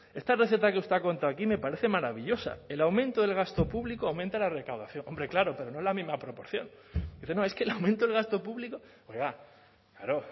esta receta que usted ha contado aquí me parece maravillosa el aumento del gasto público aumenta la recaudación hombre claro pero no en la misma proporción dice no es que el aumento del gasto público oiga claro